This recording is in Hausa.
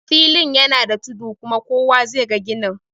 Filin yana da tudu kuma kowa zai ga ganin